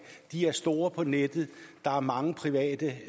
de er store på nettet og der er mange private